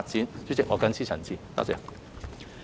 代理主席，我謹此陳辭，謝謝。